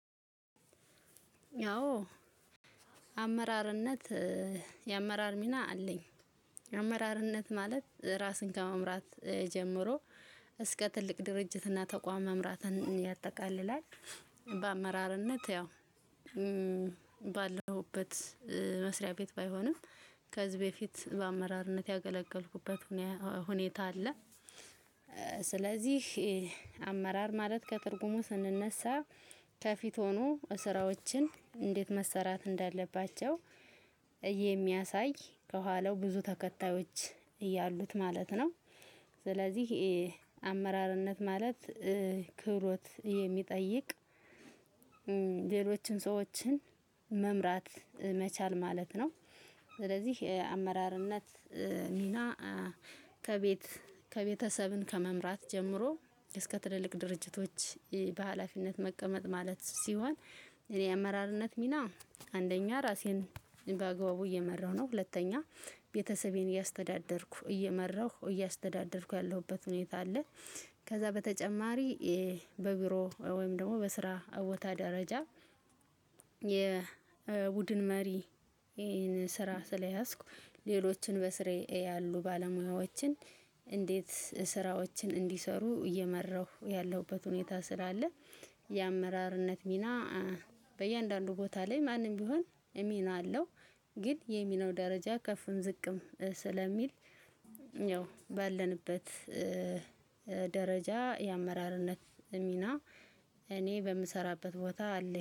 ያው አመራርነት የአመራር ሚና አለኝ የአመራርነት ማለት ራስን ከመምራት ጀምሮ እስከ ትልቅ ድርጅትና ተቋም መምራትን ያጠቃልላል። ባመራርነት ባለሁበት መስርያቤት ባይሆንም ከዚህ በፊት ባመራርነት ያገለገልኩበት ሁኔታ አለ። ስለዚህ አመራር ማለት ከትርጉሙ ስንነሳ ከፊት ሆኖ ስራዎችን እንዴት መሰራት እንዳለባቸው የሚያሳይ ከኋላው ብዙ ተከታዮች እያሉት ማለት ነው። ስለዚህ አመራርነት ማለት ክብሮት የሚጠይቅ ሌሎችን ሰዎችን መምራት መቻል ማለት ነው። ስለዚህ አመራርነት ሚና ከቤት ከቤተሰብን ከመምራት ጀምሮ እስከ ትልልቅ ድርጅቶች በሃላፊነት መቀመጥ ማለት ሲሆን። አመራርነት ሚና አንደኛ ራሴን በአግባቡ እየመራሁ ነው ሁለተኛ ቤተሰቤን እያስተዳደርኩ እየመራሁ እያስተዳደርኩ ያለሁበት ሁኔታ አለ። ከዛ በተጨማሪ በቢሮ ወይም ደግሞ በስራ ቦታ ደረጃ የቡድን መሪ ይሄንን ስራ ስለያዝኩ ሌሎችን በስሬ ያሉ ባለሙያዎችን እንዴት ስራዎችን እንዲሰሩ እየመራሁ ያለሁበት ሁኔታ ስላለ። የአመራርነት ሚና በእያንዳንዱ ቦታ ላይ ማንም ቢሆን ሚና አለው። ግን የሚናው ደረጃ ከፍ ዝቅም ስለሚል ያው ባለንበት ደረጃ የአመራርነት ሚና እኔ በምሰራበት ቦታ አለኝ